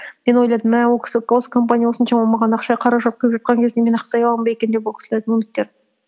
мен ойладым мә ол кісі гос компания осыншама маған ақша қаражат көп беріп жатқан кезде мен ақтай аламын ба деп ол кісілердің үміттерін